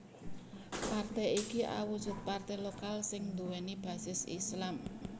Partai iki awujud partai lokal sing nduwèni basis Islam